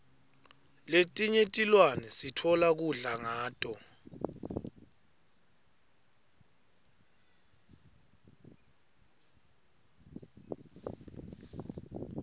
letinye tilwane sitfola kudla kuto